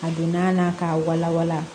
A donna n na k'a wala wala